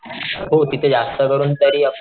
हो तिथे जास्त करून तरी आपण,